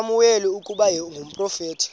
usamuweli ukuba ngumprofeti